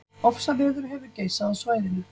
Ofsaveður hefur geisað á svæðinu